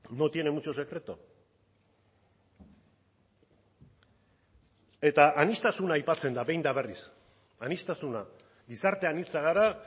no tiene mucho secreto eta aniztasuna aipatzen da behin eta berriz aniztasuna gizarte anitza gara